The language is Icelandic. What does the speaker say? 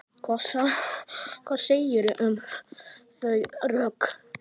Hvað segirðu um þau rök?